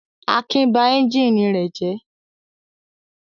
Akin ba ẹ́ńjínì rẹ̀ jẹ́.